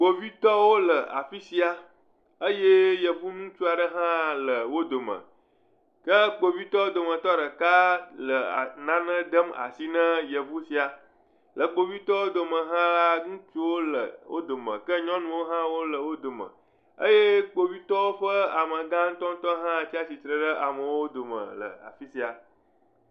Kpovitɔwo le afi sia eye yevu ŋutsu aɖe hã le wo dome. Ke kpovitɔwo dometɔ ɖeka le ee… nane dem asi na yevu sia. Le kpovitɔwo dome hã la, ŋutsuwo le wo dome eye nyɔnuwo hã le wo dome. Eye kpovitɔwo ƒe amegã ŋutɔ ŋutɔ hã le tsatsitre ɖe amewo dome le afi sia.